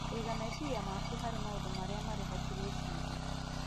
Kũiga meciria maku harĩ maũndũ marĩa marĩ ho, ta gwĩciria,